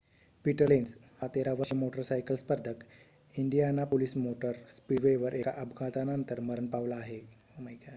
Peter Lenz हा 13-वर्षीय motorcycle स्पर्धक इंडियानापोलिस मोटर स्पीडवेवर एका अपघातानंतर मरण पावला आहे